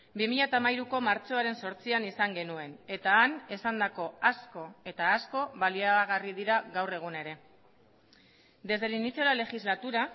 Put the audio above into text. bi mila hamairuko martxoaren zortzian izan genuen eta han esandako asko eta asko baliagarri dira gaur egun ere desde el inicio de la legislatura